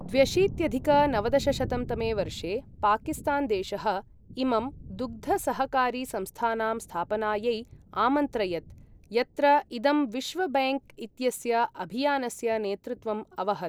द्व्यशीत्यधिक नवदशशतं तमे वर्षे पाकिस्तान् देशः इमं दुग्धसहकारि संस्थानां स्थापनायै आमन्त्रयत्, यत्र इदं विश्व बैङ्क् इत्यस्य अभियानस्य नेतृत्वम् अवहत्।